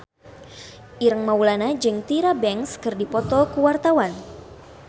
Ireng Maulana jeung Tyra Banks keur dipoto ku wartawan